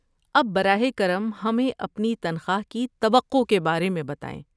اب براہ کرم ہمیں اپنی تنخواہ کی توقع کے بارے میں بتائیں۔